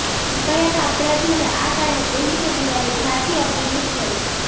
નિર્ભયાના અપરાધીઓને આ કારણે પહેલી ફેબ્રુઆરીએ ફાંસી આપવી મુશ્કેલ